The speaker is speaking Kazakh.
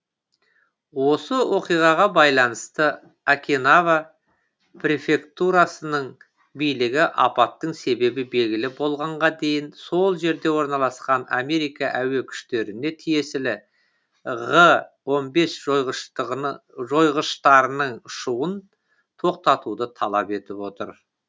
осы оқиғаға байланысты окинава префектурасының билігі апаттың себебі белгілі болғанға дейін сол жерде орналасқан америка әуе күштеріне тиесілі ғы он бес жойғыштарының ұшуын тоқтатуды талап етіп отыр